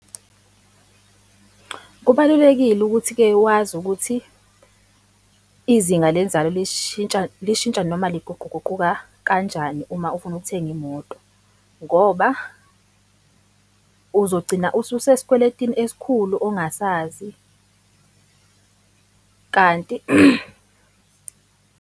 Kubalulekile ukuthi-ke wazi ukuthi izinga lenzalo lishintsha lishintsha noma liguquguquka kanjani uma ufuna ukuthenga imoto ngoba uzogcina ususesikweletini esikhulu ongasazi , kanti.